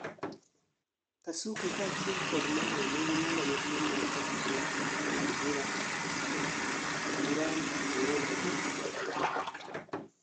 kasuku kachiel kod mae nigi nyalo maduong' mar kopo duond ja ng'ad bura Duram 49